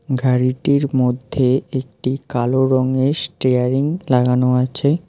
গাড়িটির মধ্যে একটি কালো রঙের স্টেয়ারিং লাগানো আছে।